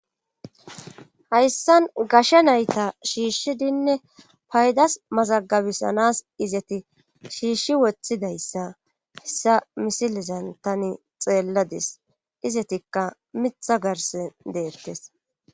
hayssan gashe nayta shiishshidinne paydas mazagabisanas izati shiishshi woththidayssa hessa misilizan tani xeelladis izetikka mitha garse deettes